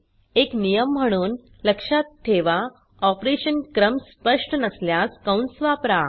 एक नियम म्हणून लक्षात ठेवा ऑपरेशन क्रम स्पष्ट नसल्यास कंस वापरा